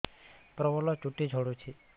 ପ୍ରବଳ ଚୁଟି ଝଡୁଛି